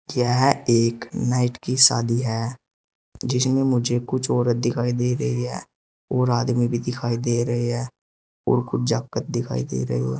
यह एक नाइट की शादी है जिसमें मुझे कुछ औरत दिखाई दे रही है और आदमी भी दिखाई दे रहे है और कुछ जाकत दिखाई दे रही हैं।